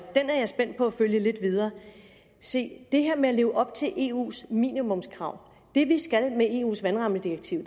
spændt på at følge lidt videre se det her med at leve op til eus minimumskrav betyder det vi skal med eus vandrammedirektiv